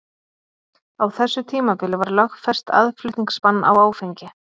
Á þessu tímabili var lögfest aðflutningsbann á áfengi.